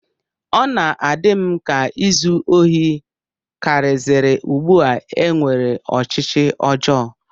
Ọ na-adị m ka izu ohi karịziri ugbu a e nwere ọchịchọ ọjọọ